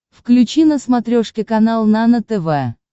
включи на смотрешке канал нано тв